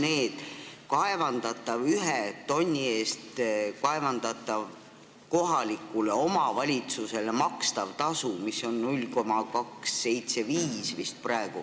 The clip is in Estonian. Ühe kaevandatava tonni eest kohalikule omavalitsusele makstav tasu on praegu vist 0,275 eurot.